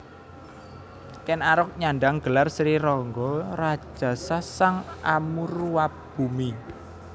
Ken Arok nyandhang gelar Sri Rangga Rajasa Sang Amurwabhumi